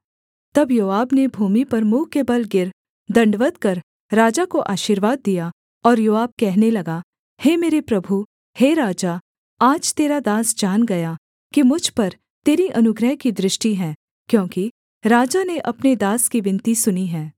तब योआब ने भूमि पर मुँह के बल गिर दण्डवत् कर राजा को आशीर्वाद दिया और योआब कहने लगा हे मेरे प्रभु हे राजा आज तेरा दास जान गया कि मुझ पर तेरी अनुग्रह की दृष्टि है क्योंकि राजा ने अपने दास की विनती सुनी है